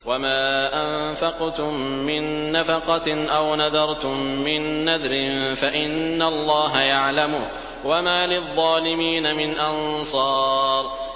وَمَا أَنفَقْتُم مِّن نَّفَقَةٍ أَوْ نَذَرْتُم مِّن نَّذْرٍ فَإِنَّ اللَّهَ يَعْلَمُهُ ۗ وَمَا لِلظَّالِمِينَ مِنْ أَنصَارٍ